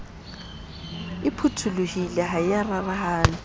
phutholohile ha e ya rarahana